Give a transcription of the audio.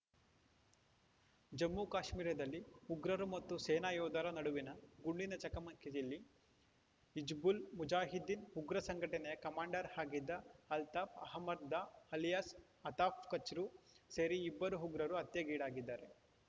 ಜಮ್ಮುಕಾಶ್ಮೀರದಲ್ಲಿ ಉಗ್ರರು ಮತ್ತು ಸೇನಾ ಯೋಧರ ನಡುವಿನ ಗುಂಡಿನ ಚಕಮಕಿಯಲ್ಲಿ ಹಿಜ್ಬುಲ್‌ ಮುಜಾಹಿದೀನ್‌ ಉಗ್ರ ಸಂಘಟನೆಯ ಕಮಾಂಡರ್‌ ಆಗಿದ್ದ ಅಲ್ತಾಫ್‌ ಅಹ್ಮದ್‌ ದಾರ್‌ ಅಲಿಯಾಸ್‌ ಅತಾಫ್‌ ಕಚ್ರೂ ಸೇರಿ ಇಬ್ಬರು ಉಗ್ರರು ಹತ್ಯೆಗೀಡಾಗಿದ್ದಾರೆ